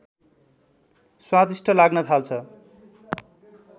स्वादिष्ठ लाग्न थाल्छ